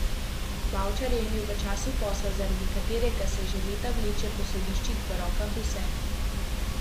Bavčar je imel v času posla, zaradi katerega se že leta vleče po sodiščih, v rokah vse.